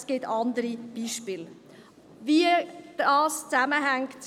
Es gibt weitere Beispiele, die zeigen, wie dies zusammenhängt.